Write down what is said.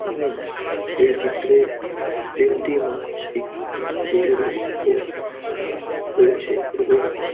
আমি এই চিত্রে তিনটি মাছ্ই‌ যেগুলি উপর রা রয়েছে এবং --